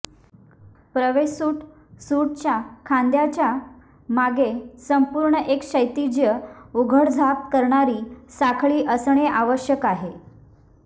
प्रवेश suit suit च्या खांद्याच्या मागे संपूर्ण एक क्षैतिज उघडझाप करणारी साखळी असणे आवश्यक आहे